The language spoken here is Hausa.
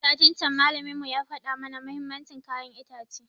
Satin can malamin mu ya faɗa mana muhimmancin kayan itace